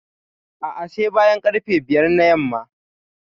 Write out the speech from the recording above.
A'a, sai bayan ƙarfe biyar na yamma.